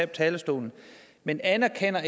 talerstolen men anerkender